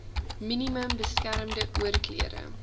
minimum beskermde oorklere